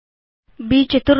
ब्14